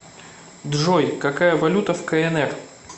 джой какая валюта в кнр